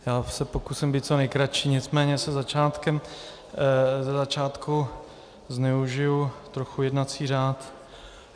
Já se pokusím být co nejkratší, nicméně ze začátku zneužiju trochu jednací řád.